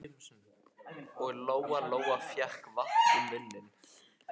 Og Lóa-Lóa fékk vatn í munninn.